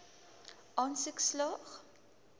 aansoek slaag